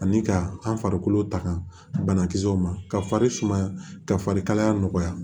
Ani ka an farikolo taga banakisɛw ma ka fari sumaya ka fari kalaya nɔgɔya